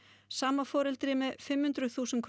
sama foreldri með fimm hundruð þúsund